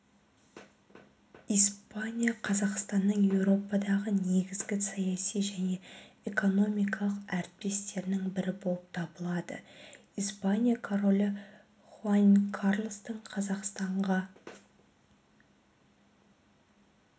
испания қазақстанның еуропадағы негізгі саяси және экономикалық әріптестерінің бірі болып табылады испания королі хуан карлостың қазақстанға